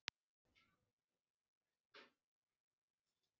Það hefur aldrei verið miðstöð í þessari vél